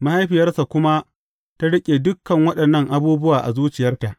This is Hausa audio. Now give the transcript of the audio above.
Mahaifiyarsa kuma ta riƙe dukan waɗannan abubuwa a zuciyarta.